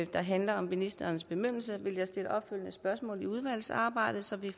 der handler om ministerens bemyndigelse vil jeg stille opfølgende spørgsmål i udvalgsarbejdet så vi